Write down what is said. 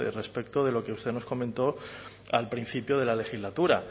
respecto de lo que usted nos comentó al principio de la legislatura